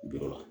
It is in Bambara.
Jɔ